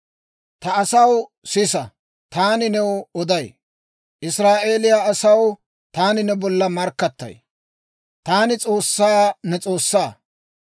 «Ta asaw, sisa! Taani new oday. Israa'eeliyaa asaw, taani ne bolla markkattay. Taani S'oossaa, ne S'oossaa.